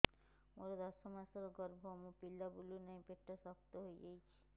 ମୋର ଦଶ ମାସର ଗର୍ଭ ମୋ ପିଲା ବୁଲୁ ନାହିଁ ପେଟ ଶକ୍ତ ହେଇଯାଉଛି